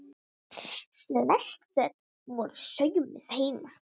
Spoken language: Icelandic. Flest föt voru saumuð heima.